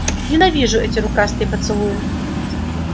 ненавижу эти рукастые поцелуи